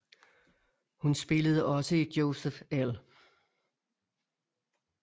Hun spillede også i Joseph L